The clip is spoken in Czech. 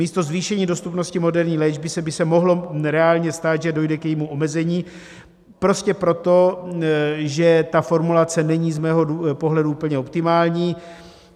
Místo zvýšení dostupnosti moderní léčby by se mohlo reálně stát, že dojde k jejímu omezení, prostě proto, že ta formulace není z mého pohledu úplně optimální.